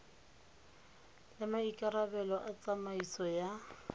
le maikarabelo a tsamaiso ya